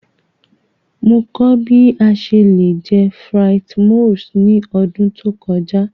Mo kọ bi a ṣe le jẹ frites moules ni ọdun to kọja.